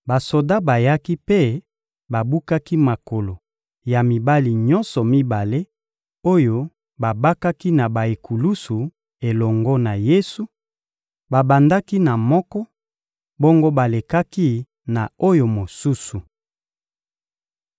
Basoda bayaki mpe babukaki makolo ya mibali nyonso mibale oyo babakaki na ba-ekulusu elongo na Yesu; babandaki na moko, bongo balekaki na oyo mosusu.